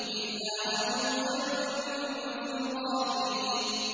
إِلَّا عَجُوزًا فِي الْغَابِرِينَ